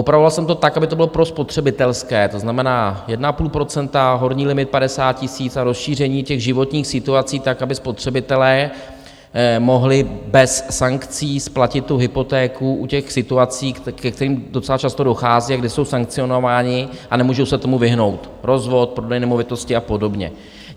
Upravoval jsem to tak, aby to bylo prospotřebitelské, to znamená 1,5 %, horní limit 50 tisíc a rozšíření těch životních situací tak, aby spotřebitelé mohli bez sankcí splatit tu hypotéku u těch situací, ke kterým docela často dochází a kde jsou sankcionováni a nemůžou se tomu vyhnout - rozvod, prodej nemovitosti a podobně.